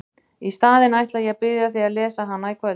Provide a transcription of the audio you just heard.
Í staðinn ætla ég að biðja þig að lesa hana í kvöld!